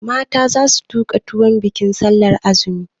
Mata za su tuka tuwon bikin sallar azumi.